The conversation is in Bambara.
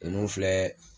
Ninnu filɛ